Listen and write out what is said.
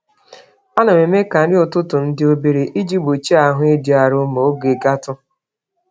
Anam eme ka nri n'ụtụtụm dị obere, iji gbochie ahụ ịdị arụ ma oge gatụ